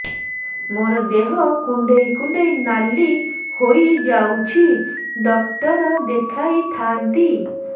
ମୋର ଦେହ କୁଣ୍ଡେଇ କୁଣ୍ଡେଇ ନାଲି ହୋଇଯାଉଛି ଡକ୍ଟର ଦେଖାଇ ଥାଆନ୍ତି